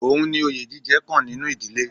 Ohun ni oye jíjẹ kan nínú ìdílé.